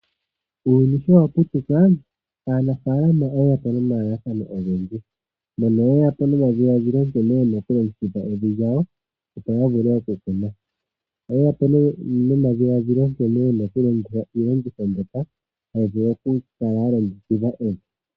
Uuyuni showaputuka aanafaalama oyeyapo nomalalakano ogendji, mono yeya po nomadhiladhilo nkene yena okulongekidha evi lyawo opo yavule oku kuna. Oye yapo nee nomadhiladhilo nkene yena okulongekidha iilongitho mbyoka hayi vulu okukala yalongekidha evi.